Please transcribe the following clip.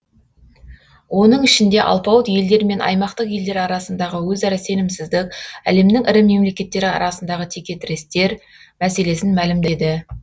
оның ішінде алпауыт елдер мен аймақтық елдер арасындағы өзара сенімсіздік әлемнің ірі мемлекеттері арасындағы текетірестер мәселесін мәлімдеді